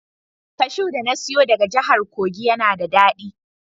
Kashu da na siyo daga jahar kogi yana da dadi.